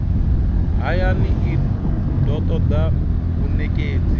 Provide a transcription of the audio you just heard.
hayani i do toda vhanekedzi